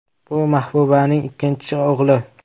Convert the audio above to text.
Bu Mahbubaning ikkinchi o‘g‘li.